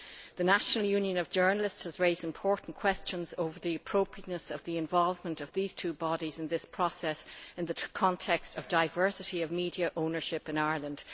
The National Union of Journalists has raised important questions over the appropriateness of the involvement of these two bodies in this process, in the context of diversity of media ownership in Ireland.